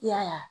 I y'a ye